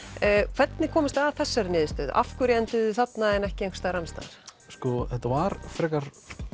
hvernig komust þið að þessari niðurstöðu af hverju enduðuð þið þarna en ekki einhvers staðar annars staðar sko þetta var frekar